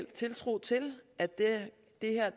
tiltro til at